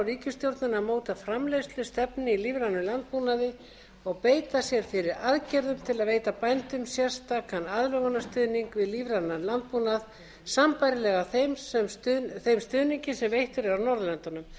ríkisstjórnina að móta framleiðslustefnu í lífrænum landbúnaði og beita sér fyrir aðgerðum til að veita bændum sérstakan aðlögunarstuðning við lífrænan landbúnað sambærilegan þeim stuðningi sem veittur er á norðurlöndum